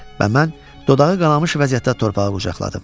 Və mən dodağı qanamış vəziyyətdə torpağa qucaqladım.